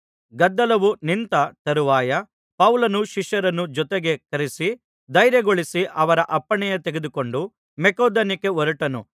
ಗದ್ದಲವು ನಿಂತ ತರುವಾಯ ಪೌಲನು ಶಿಷ್ಯರನ್ನು ಜೊತೆಗೆ ಕರೆಯಿಸಿ ಧೈರ್ಯಗೊಳಿಸಿ ಅವರ ಅಪ್ಪಣೆ ತೆಗೆದುಕೊಂಡು ಮಕೆದೋನ್ಯಕ್ಕೆ ಹೊರಟನು